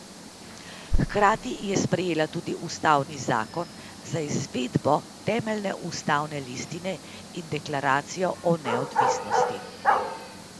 Hkrati je sprejela tudi ustavni zakon za izvedbo temeljne ustavne listine in Deklaracijo o neodvisnosti.